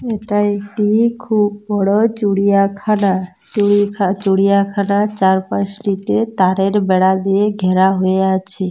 এটা একটি-ই খুব বড়ো-ও চুড়িয়াখানা চুড়ি খা-- চুড়িয়াখানা চারপাশটিতে তারের বেড়া দিয়ে ঘেরা হয়ে আছে।